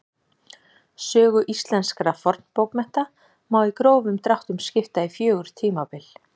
Sögu íslenskra fornbókmennta má í grófum dráttum skipta í fjögur tímabil.